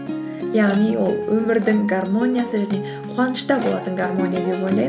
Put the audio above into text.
яғни ол өмірдің гармониясы және қуанышта болатын гармония деп ойлаймын